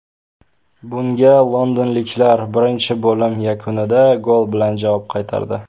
Bunga londonliklar birinchi bo‘lim yakunidagi gol bilan javob qaytardi.